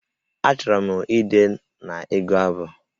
Achọrọ m ide na ịgụ abụ